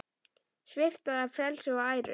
Svipta það frelsi og æru.